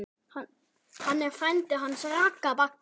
Hann er frændi hans Ragga.